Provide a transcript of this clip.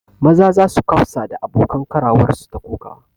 Maza sa su kafsa da abokan karawarsu ta kokawa